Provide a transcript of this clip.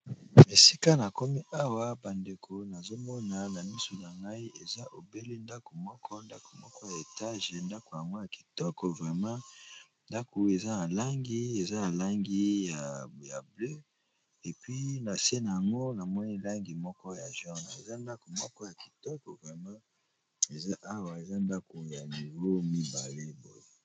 Esika na komi awa ba ndeko nazo mona na misu na ngai eza obele ndako moko ndako moko ya étage, ndako yango ya kitoko vraiment, ndako eza na langi, eza na langi ya bleue et puis, na se n'ango na moni langi moko ya jaune, eza ndako moko ya kitoko vraiment eza awa, eza ndako ya niveau mibale boye .